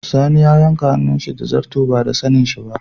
Sani ya yanka hannun shi da zarto ba da sanin shi ba.